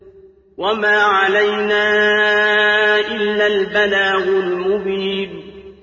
وَمَا عَلَيْنَا إِلَّا الْبَلَاغُ الْمُبِينُ